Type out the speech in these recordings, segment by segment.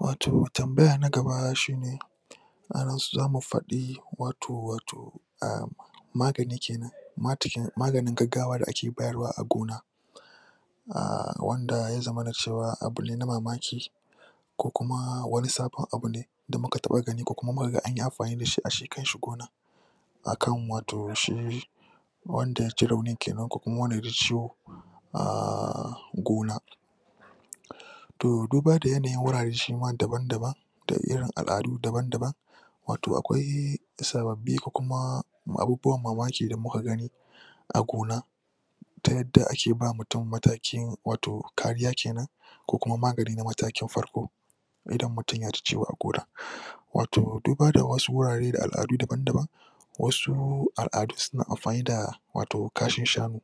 Wato tambaya na gaba shi ne a nan zamu faɗi wato wato a magani ke nan mganin gaggawa da ake bayarwa a gona. a wanda ya zamana cewa abu ne na mamaki ko kuma wani sabon abu ne da muka taɓa gani ko kuma mu ka ga an yi amfani da shi a shi kanshi gonar. akan wato shi wanda ya ji raunin ke nan ko wanda ya ji ciwo a gona to duba da yanayin wurare dabam-daban da irin al'adu dabam-daban wato akwai na sababbi ko kuma abubuwan mamaki da kuka gani a gona ta yadda ake ba mutum matakin wato kariya ko kuma magani na matakin farko idan mutum ya ji ciwo a gona wato duba da wasu wurare da al'adu daban-daban wasu al'adu suna amfani da kashin shanu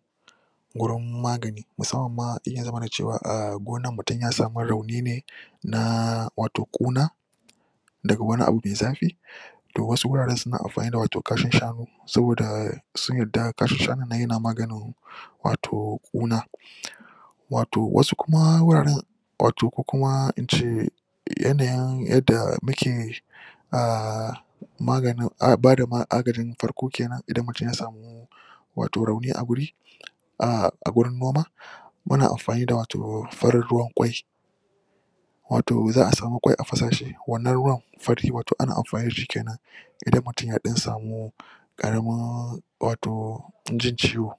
gurin magani musamman ma idan ya zamana cewa a gonar mutum ya samu rauni ne na wato ƙuna da wani abu mai zafi to wasu wuraren suna amfani da kashin shanu saboda sun yadda kashin shanun nan yana maganin wato ƙuna. Wato wasu kuma wuraren wato ko kuma in ce yanayin yadda muke a maganin ba da agajin farko ke nan idan mutum ya samu wato rauni a guri a gurin noma muna amfani da wato farin ruwan ƙwai wato za samu ƙwai a fa shi wannan ruwan fari wato ana amfani da shi ke nan. idan mutum ya ɗan samu ƙaramin wato jin ciwo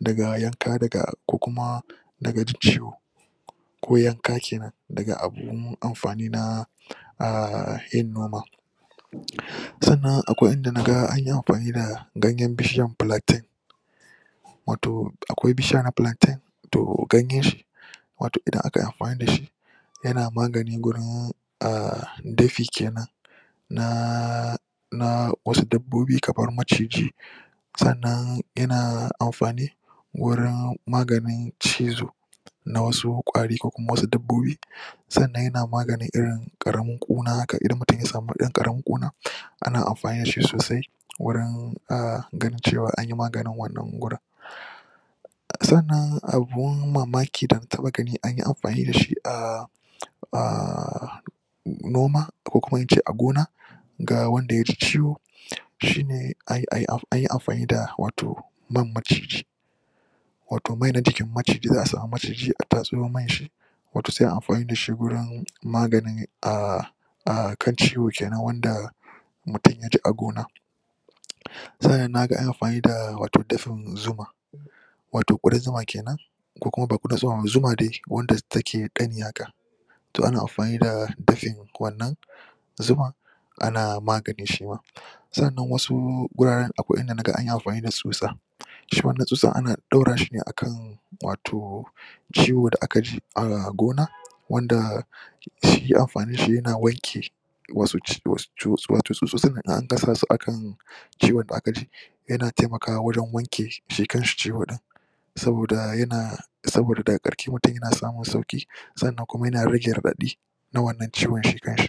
daga yanka daga ko kuma daga jin ciwo ko yanka ke nan daga abun amfani na a yin noma sannan akwai in da na ga an yi amfani da ganyen bishiyar plaintain wato akwai bishiya na plaintain to ganyenshi wato idan akai amfani da shi yana magani gurin a dafi ke nan na na wasu dabbobi kamar maciji sannan yana amfani wurin maganin cizo na wasu ƙwari ko kuma wasu dabbobi sannan yana maganin irin ƙaramin ƙuna haka idan mutum ya samu ɗan ƙaramin ƙuna ana amfani da shi sosai wurin ganin cewa an yi maganin wannan gurin. Sannanan abun mamaki da na taɓa gani an yi amfani da shi a a noma ko kuma in ce a gona ga wanda ya ji ciwo shi ne ayi amfani da wato man maciji. wato mai na jikin maciji za a samu maciji a tatso man shi wato sai a yi amfani da shi wajen maganin a a kan ciwo ke nan wanda mutum ya ji a gona. sannan na ga an yi amfani da wato dafin zuma. wato ƙudan zuma ke nan ko kuma ba ƙudan zuma ba zuma dai wadda take ƙari haka. to ana amfani da dafin wannan zuman ana magani shi ma. sannan wasu guraren akwai inda na ga anyi amfani da tsutsa. shi ma wanna tsutsan an ɗora shi ne akan wato ciwo da aka jii a gona wanda shi amfaninshi yana wanke wasto tsutsotsin in an danna su a kan ciwon da aka ji yana taimakwa wajen wanke shi kanshi ciwo ɗin. saboda yana saboda daga ƙarshe mutum yana samun sauƙi. sanna kuma yana rage raɗaɗi na wannan ciwon shi kanshi.